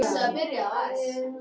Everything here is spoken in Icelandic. Fæst banaslys í umferð á Íslandi